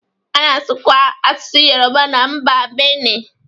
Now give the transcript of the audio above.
A na-asụkwa asụsụ Yoruba na mba Bene.